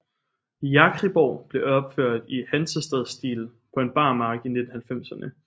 Jakriborg blev opført i Hansestadsstil på en bar mark i 1990erne